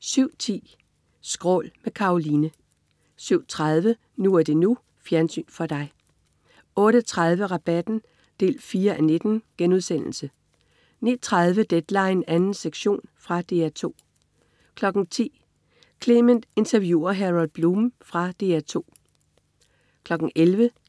07.10 Skrål. Med Karoline 07.30 NU er det NU. Fjernsyn for dig 08.30 Rabatten 4:19* 09.30 Deadline 2. sektion. Fra DR 2 10.00 Clement interviewer Harold Bloom. Fra DR 2 11.00